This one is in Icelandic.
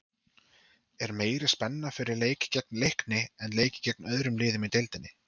Er meiri spenna fyrir leiki gegn Leikni en leiki gegn öðrum liðum í deildinni?